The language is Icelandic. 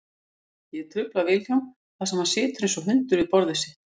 Ég trufla Vilhjálm þar sem hann situr einsog hundur við borðið sitt.